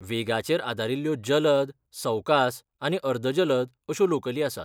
वेगाचेर आदारिल्ल्यो जलद, सवकास आनी अर्द जलद अश्यो लोकली आसात.